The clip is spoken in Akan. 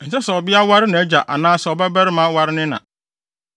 “ ‘Ɛnsɛ sɛ ɔbabea ware nʼagya anaasɛ ɔbabarima ware ne na.